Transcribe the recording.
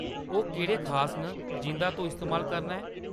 ओह् केह्‌‌ड़े खास न जिंʼदा तूं इस्तेमाल करना ऐं ?